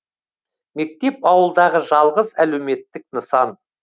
мектеп ауылдағы жалғыз әлеуметтік нысан